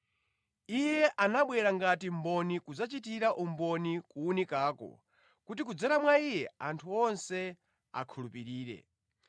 Iye anabwera ngati mboni kudzachitira umboni kuwunikako kuti kudzera mwa iye anthu onse akhulupirire.